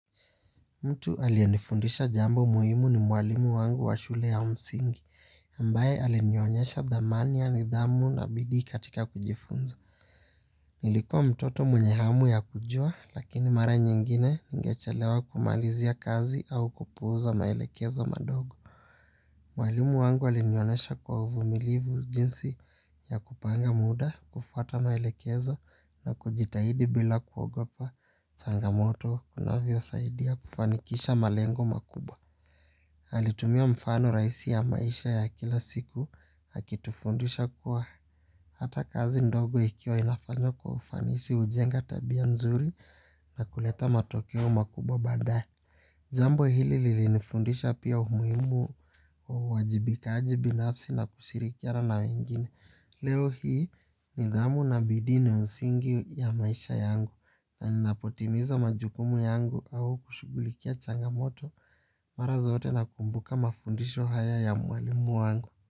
Mtu aliyenifundisha jambo muhimu ni mwalimu wangu wa shule ya msingi, ambaye alinionyesha thamani ya nidhamu na bidii katika kujifunza. Nilikua mtoto mwenye hamu ya kujua, lakini mara nyingine ningechelewa kumalizia kazi au kupuuza maelekezo madogo. Mwalimu wangu alinionesha kwa uvumilivu jinsi ya kupanga muda, kufuata maelekezo na kujitahidi bila kuogopa changamoto kunavyosaidia kufanikisha malengo makubwa. Alitumia mfano raisi ya maisha ya kila siku akitufundisha kuwa hata kazi ndogo ikiwa inafanywa kwa ufanisi hujenga tabia nzuri na kuleta matokeo makubwa baadae. Jambo hili lilinifundisha pia umuhimu wa uwajibikaji binafsi na kushirikiana na wengine leo hii nidhamu na bidii ni usingi ya maisha yangu na ninapotimiza majukumu yangu au kushughulikia changamoto mara zote nakumbuka mafundisho haya ya mwalimu wangu.